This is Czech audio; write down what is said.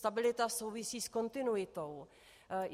Stabilita souvisí s kontinuitou.